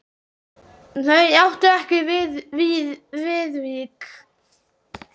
Þau áttu ekki Viðvík.